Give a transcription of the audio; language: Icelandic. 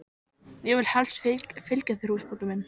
Ég vil helst fylgja þér húsbóndi minn.